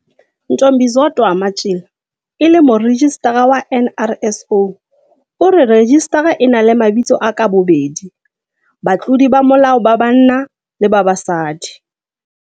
Ntombizodwa Matjila, e leng Morejistara wa NRSO, o re rejistara e na le mabitso a ka bobedi batlodi ba molao ba banna le ba basadi.